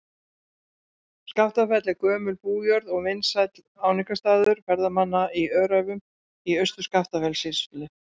Skaftafell er gömul bújörð og vinsæll áfangastaður ferðamanna í Öræfum í Austur-Skaftafellssýslu.